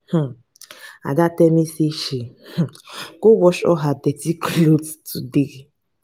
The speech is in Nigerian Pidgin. um ada tell me say she um go wash all her dirty cloths um today